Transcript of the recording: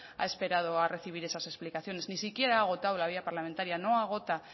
ha esperado a recibir esas explicaciones ni siquiera ha agotado la vía parlamentaria no agota